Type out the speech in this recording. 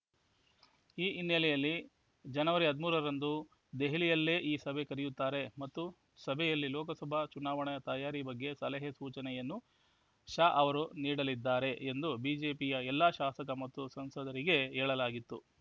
ಈ ಹಿನ್ನೆಲೆಯಲ್ಲಿ ಜನವರಿ ಹದಿಮೂರರಂದು ದೆಹಲಿಯಲ್ಲೇ ಈ ಸಭೆ ಕರೆಯುತ್ತಾರೆ ಮತ್ತು ಸಭೆಯಲ್ಲಿ ಲೋಕಸಭಾ ಚುನಾವಣೆ ತಯಾರಿ ಬಗ್ಗೆ ಸಲಹೆಸೂಚನೆಯನ್ನು ಶಾ ಅವರು ನೀಡಲಿದ್ದಾರೆ ಎಂದು ಬಿಜೆಪಿಯ ಎಲ್ಲ ಶಾಸಕ ಮತ್ತು ಸಂಸದರಿಗೆ ಹೇಳಲಾಗಿತ್ತು